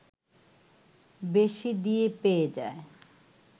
বেশি দিয়ে পেয়ে যায়